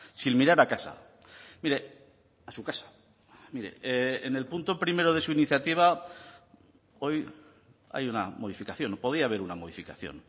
sin mirar a casa mire a su casa mire en el punto primero de su iniciativa hoy hay una modificación podía haber una modificación